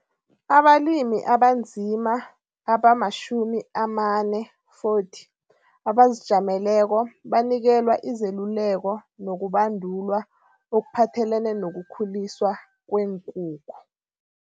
Abalimi abanzima abama-40 abazijameleko banikelwa izeluleko nokubandulwa okuphathelene nokukhuliswa kweenkukhu.